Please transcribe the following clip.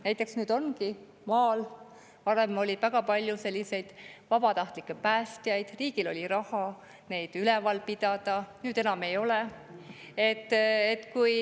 Näiteks maal oli varem väga palju vabatahtlikke päästjaid, riigil oli raha neid üleval pidada, nüüd enam ei ole.